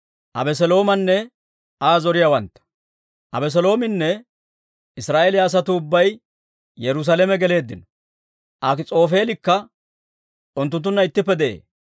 Abeseloominne Israa'eeliyaa asatuu ubbay Yerusaalame geleeddino; Akis'oofeelikka unttunttunna ittippe de'ee.